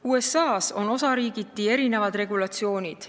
USA-s on osariigiti erinevad regulatsioonid.